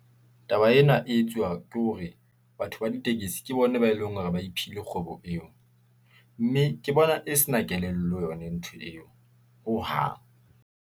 Taba ena e etsuwa ke hore batho ba ditekesi, ke bona ba eleng hore ba iphile kgwebo eo , mme ke bona e se na kelello yona ntho eo, hohang.